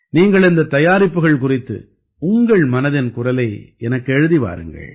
நீங்கள் இந்தத் தயாரிப்புக்கள் குறித்து உங்கள் மனதின் குரலை எனக்கு எழுதி வாருங்கள்